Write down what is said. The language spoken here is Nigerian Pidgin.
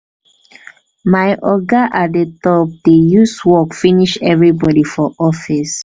my oga at di top dey use work finish everybodi for office.